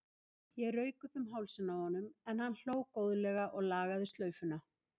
Ég rauk upp um hálsinn á honum en hann hló góðlega og lagaði slaufuna.